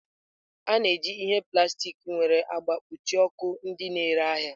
A na-eji ihe plastik nwere agba kpuchie ọkụ ndị na-ere ahịa.